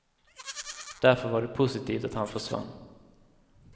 Därför var det positivt att han försvann.